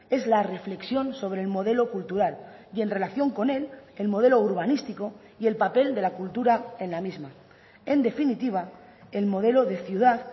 es la reflexión sobre el modelo cultural y en relación con él el modelo urbanístico y el papel de la cultura en la misma en definitiva el modelo de ciudad